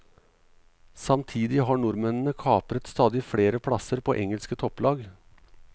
Samtidig har nordmennene kapret stadig flere plasser på engelske topplag.